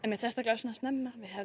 sérstaklega svona snemma við hefðum